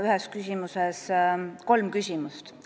Ühes küsimuses oli nüüd kolm küsimust.